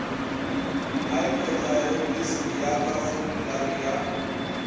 hypothyroidism ya ka formulari ya